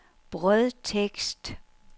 brødtekst